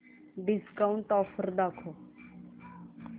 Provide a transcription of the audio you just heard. discount offer दाखव